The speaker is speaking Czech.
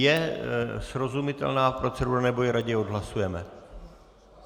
Je srozumitelná procedura, nebo ji raději odhlasujeme?